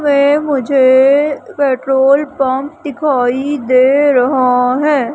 वे मुझे petrol pump दिखाई दे रहा है।